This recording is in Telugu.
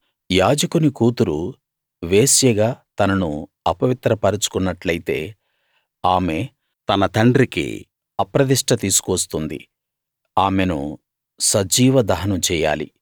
యాజకుని కూతురు వేశ్యగా తనను అపవిత్రపరచు కున్నట్టైతే ఆమె తన తండ్రికి అప్రదిష్ట తీసుకువస్తుంది ఆమెను సజీవ దహనం చెయ్యాలి